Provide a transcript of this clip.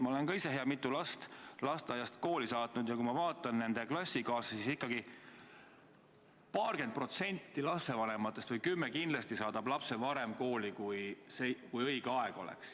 Ma olen ka ise hea mitu last lasteaiast kooli saatnud ja kui ma vaatan nende klassikaaslasi, siis näen, et paarkümmend protsenti lastevanematest või 10% kindlasti saadab lapse varem kooli, kui õige aeg oleks.